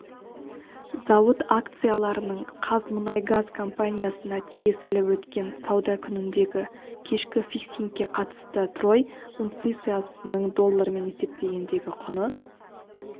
зауыт акцияларының қазмұнайгаз компаниясына тиесілі өткен сауда күніндегі кешкі фиксингке қатысты трой унциясының доллармен есептегендегі құны